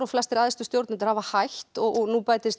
flestir æðstu stjórnendur hafa hætt og nú bætist